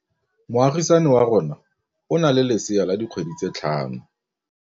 Moagisane wa rona o na le lesea la dikgwedi tse tlhano.